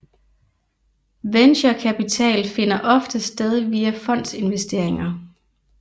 Venturekapital finder oftest sted via fondsinvesteringer